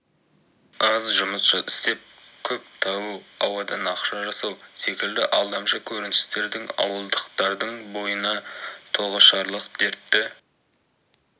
аз жұмыс істеп көп табу ауадан ақша жасау секілді алдамшы көріністердің ауылдықтардың бойына тоғышарлық дертті